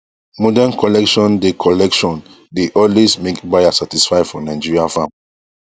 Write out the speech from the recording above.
modern collection dey collection dey always make buyer satisfy for nigeria farm